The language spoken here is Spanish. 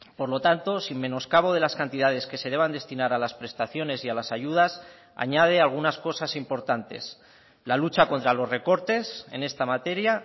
por lo tanto sin menoscabo de las cantidades que se deban destinar a las prestaciones y a las ayudas añade algunas cosas importantes la lucha contra los recortes en esta materia